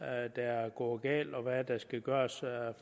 er der er gået galt og hvad der skal gøres